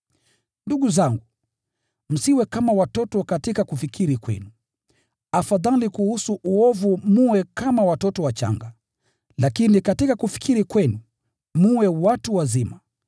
Ndugu zangu, msiwe kama watoto katika kufikiri kwenu, afadhali kuhusu uovu mwe kama watoto wachanga, lakini katika kufikiri kwenu, mwe watu wazima.